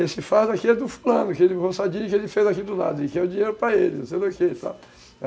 Esse fardo aqui é do fulano, aquele roçadinho que ele fez aqui do lado, e que é o dinheiro para ele, não sei do que e tal.